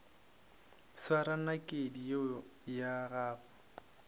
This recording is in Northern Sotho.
swara nakedi yeo ya gago